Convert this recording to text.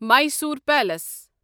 Mysore palace